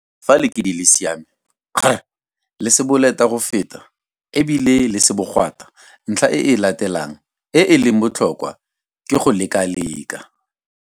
Fa lekidi le siame, kgr. Le se boleta go feta e bile le se bogwata, ntlha e e latelang e e leng botlhokwa ke go lekalekana.